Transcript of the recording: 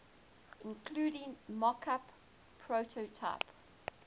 including mockup prototype